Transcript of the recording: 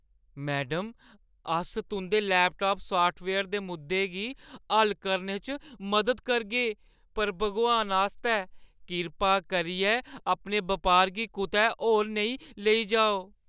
Madam, अस तुंʼदे laptop software दे मुद्दें गी हल करने च मदद करगे पर भगवान आस्तै, कृपा करियै अपने बपार गी कुतै होर नेईं लेई जाओ।